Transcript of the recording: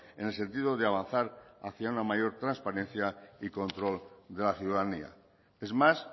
en el sentido de avanzar hacia una mayor transparencia y control de la ciudadanía es más